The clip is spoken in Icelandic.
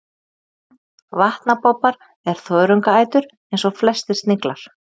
Vatnabobbar er þörungaætur eins og flestir sniglar.